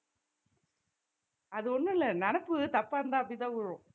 அது ஒண்ணும் இல்ல நினைப்பு தப்பா இருந்தா அப்படித்தான் விழும்